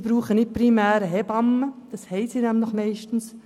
Diese Leute brauchen nicht primär eine Hebamme, diese haben sie meist.